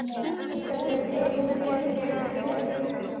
Elísabet: Er hún betri en allar hinar?